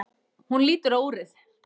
Hún lítur á úrið.